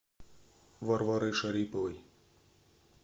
варварой шариповой